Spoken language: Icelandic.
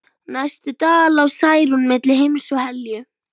Næstu daga lá Særún milli heims og helju.